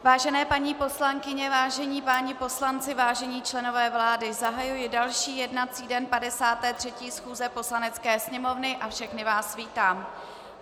Vážené paní poslankyně, vážení páni poslanci, vážení členové vlády, zahajuji další jednací den 53. schůze Poslanecké sněmovny a všechny vás vítám.